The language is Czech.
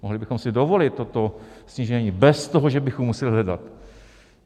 Mohli bychom si dovolil toto snížení bez toho, že bychom museli hledat.